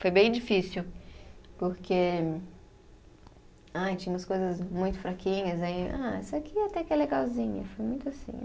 Foi bem difícil, porque. Ai, tinha umas coisas muito fraquinhas, aí. Ah, isso aqui até que é legalzinha, foi muito assim